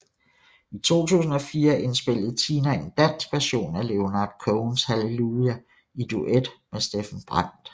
I 2004 indspillede Tina en dansk version af Leonard Cohens Hallelujah i duet med Steffen Brandt